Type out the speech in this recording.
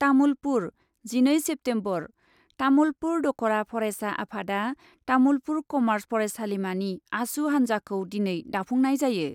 तामुलपुर , जिनै सेप्तेम्बर, तामुलपुर दखरा फरायसा आफादआ तामुलपुर कमार्च फरायसालिमानि आसु हान्जाखौ दिनै दाफुंनाय जायो ।